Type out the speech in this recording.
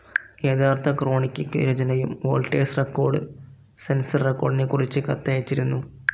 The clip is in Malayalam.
യഥാർത്ഥ ക്രോണിക്കിക് രചനയും വോൾട്ടേഴ്സ് റെക്കോർഡ്‌ സെൻസർ റെക്കോർഡിനെക്കുറിച്ച് കത്തയച്ചിരുന്നു.